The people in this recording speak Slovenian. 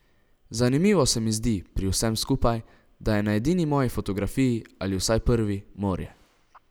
Zanimivo se mi zdi pri vsem skupaj, da je na edini moji fotografiji, ali vsaj prvi, morje.